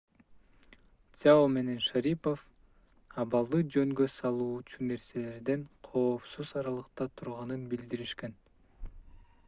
цзяо менен шарипов абалды жөнгө салуучу нерселерден коопсуз аралыкта турганын билдиришкен